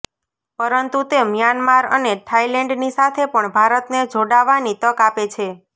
પરંતુ તે મ્યાનમાર અને થાઇલૅન્ડની સાથે પણ ભારતને જોડાવાની તક આપે છે